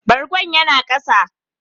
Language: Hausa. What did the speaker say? Bargon ya na a kasa.